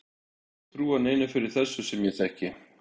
Ég þori ekki að trúa neinum fyrir þessu sem ég þekki.